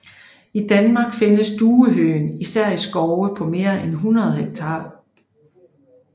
I Danmark findes duehøgen især i skove på mere end 100 hektar